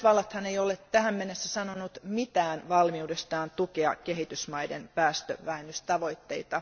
Yhdysvallathan ei ole tähän mennessä sanonut mitään valmiudestaan tukea kehitysmaiden päästövähennystavoitteita.